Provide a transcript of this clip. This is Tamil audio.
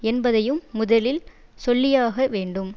என்பதையும் முதலில் சொல்லியாக வேண்டும்